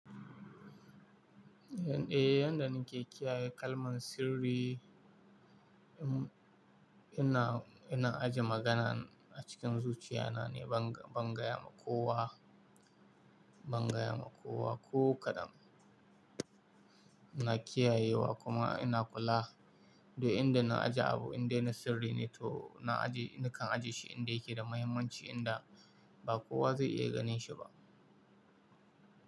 Eh, yanda nake kiyaye kalman sirri, um, ina, ina ajiye magana a cikin zuciya na ne, ban, ban gaya ma kowa, ban gaya ma kowa ko kaɗan. Ina kiyayewa kuma ina kula, duk inda na ajiye abu indai na sirri ne to na ajiye, nakan ajiye shi inda yake da mahimmanci, inda ba kowa zai iya ganin shi ba.